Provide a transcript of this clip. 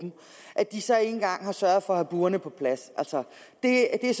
at de så ikke engang har sørget for at have burene på plads altså det er